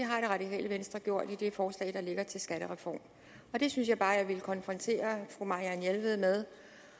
har det radikale venstre gjort i det forslag der ligger til en skattereform det synes jeg bare at jeg ville konfrontere fru marianne jelved med